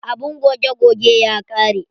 Abun goge goge ya ƙare.